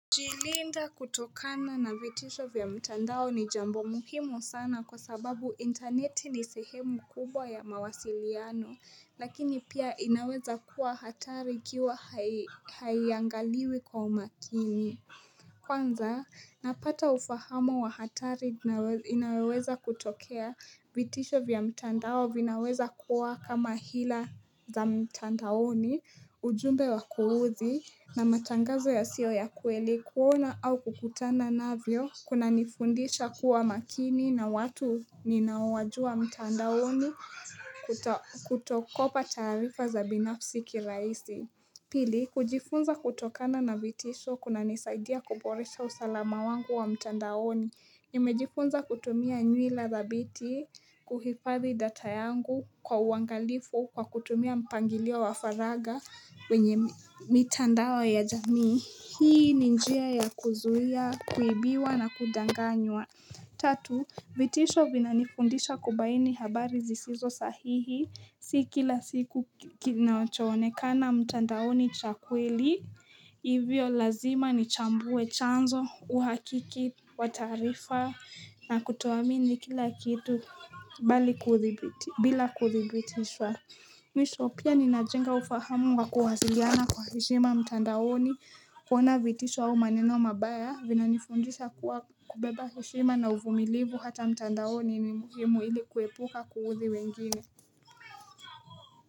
Jilinda kutokana na vitisho vya mtandao ni jambo muhimu sana kwa sababu internet ni sehemu kubwa ya mawasiliano, lakini pia inaweza kuwa hatari ikiwa haiylangaliwi kwa umakini. Kwanza napata ufahama wa hatari inaoweza kutokea vitisho vya mtandao vinaweza kuwa kama hila za mtandaoni ujumbe wa kuuzi na matangazo ya sio ya kweli kuona au kukutana navyo kuna nifundisha kuwa makini na watu ninaowajua mtandaoni kutokopa taarifa za binafi kirahisi Pili, kujifunza kutokana na vitisho kuna nisaidia kuboresha usalama wangu wa mtandaoni. Nimejifunza kutumia nywila dhabiti, kuhifathi data yangu kwa uangalifu kwa kutumia mpangilia wa faraga wenye mitandao ya jamii. Hii ni njia ya kuzuia, kuibiwa na kudanganywa. Tatu, vitisho vinanifundisha kubaini habari zisizo sahihi si kila siku kinachonekana mtandaoni chakweli, ivyo lazima ni chambue chanzo, uhakiki, watarifa na kutuamini kila kitu bila kuthibitisha. Mwishi pia ninajenga ufahamu kwa kuwasiliana kwa heshima mtandaoni kuona vitisho au maneno mabaya vinanifundisa kuwa kubeba heshima na uvumilivu hata mtandaoni ni muhimu ili kuepuka kuhuthi wengine.